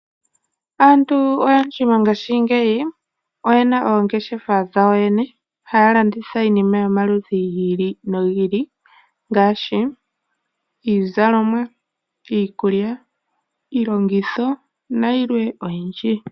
Aantu oyendji mongaashingeyi oyena oongeshefa dhawo yene haya landitha iinima yomaludhi gi ili nogi ili ngaashi iizalomwa, iikulya, iilongitho nayilwe oyindji.